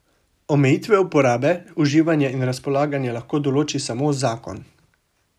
Omejitve uporabe, uživanja in razpolaganja lahko določi samo zakon.